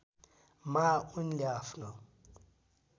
मा उनले आफ्नो